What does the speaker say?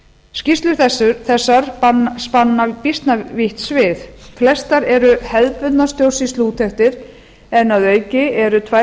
ríkisreiknings skýrslur þessar spanna býsna vítt svið flestar eru hefðbundnar stjórnsýsluúttektir en að auki eru tvær